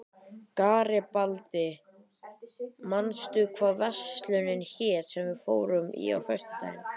Garibaldi, manstu hvað verslunin hét sem við fórum í á föstudaginn?